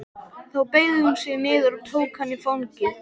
Þá beygði hún sig niður og tók hann í fangið.